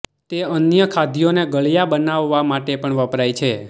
તે અન્ય ખાદ્યોને ગળ્યા બનાવવા માટે પણ વપરાય છે